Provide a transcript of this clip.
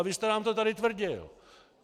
A vy jste nám to tady tvrdil.